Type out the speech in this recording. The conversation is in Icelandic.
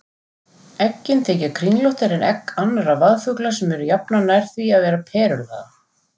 Eggin þykja kringlóttari en egg annarra vaðfugla sem eru jafnan nær því að vera perulaga.